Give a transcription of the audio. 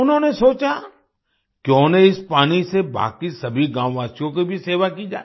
उन्होंने सोचा क्यों न इस पानी से बाकी सभी गाँववासियों की भी सेवा की जाए